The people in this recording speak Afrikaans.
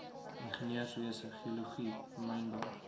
ingenieurswese geologie mynbou